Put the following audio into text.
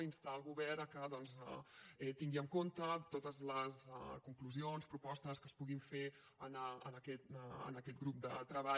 instar el govern que tingui en compte totes les conclusions propostes que es puguin fer en aquest grup de treball